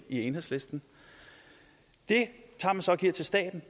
i enhedslisten tager man så og giver til staten